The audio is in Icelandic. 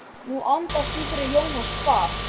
Nú andar suðrið Jónas kvað.